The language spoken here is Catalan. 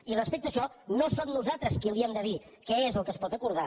i respecte a això no som nosaltres qui li hem de dir què és el que es pot acordar